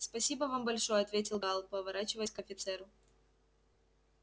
спасибо вам большое ответил гаал поворачиваясь к офицеру